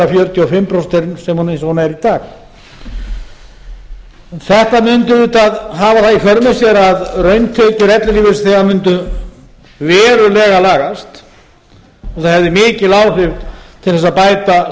fjörutíu og fimm prósent eins og hún er í dag þetta mundi auðvitað hafa það í för með sér að rauntekjur ellilífeyrisþega mundu verulega lagast og hefði mikil áhrif til að bæta